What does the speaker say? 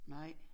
Nej